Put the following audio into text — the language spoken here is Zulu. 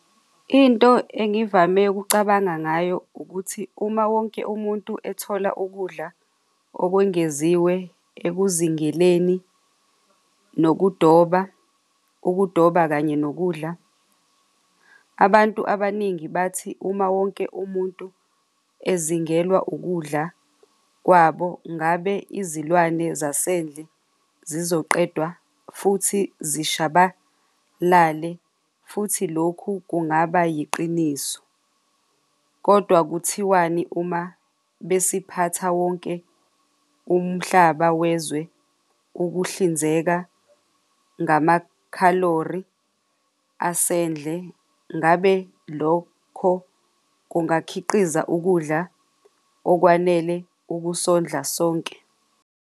Into engivame ukucabanga ngayo ukuthi uma wonke umuntu ethola ukudla okwengeziwe ekuzingeleni nokudoba ukudoba kanye nokudla. Abantu abaningi bathi uma wonke umuntu ezingelwa ukudla kwabo ngabe izilwane zasendle zizoqedwa futhi zishabalale, futhi lokhu kungaba yiqiniso kodwa kuthiwani, uma besiphatha wonke umhlaba wezwe ukuhlinzeka ngamakhalori asendle? Ngabe lokho kungakhiqiza ukudla okwanele ukusondla sonke?